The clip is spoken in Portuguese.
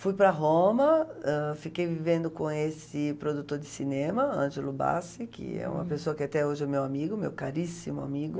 Fui para Roma, ãh, fiquei vivendo com esse produtor de cinema, Ângelo Bassi, que é uma pessoa que até hoje é meu amigo, meu caríssimo amigo.